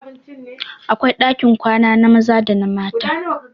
Akwai ɗakin kwana na maza da na mata